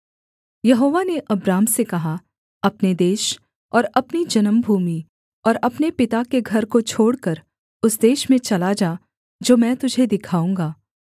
यहोवा ने अब्राम से कहा अपने देश और अपनी जन्मभूमि और अपने पिता के घर को छोड़कर उस देश में चला जा जो मैं तुझे दिखाऊँगा